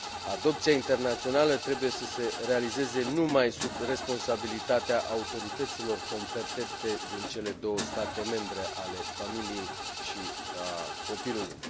adopția internațională trebuie să se realizeze numai sub responsabilitatea autorităților competente din cele două state membre, a familiei și a copilului.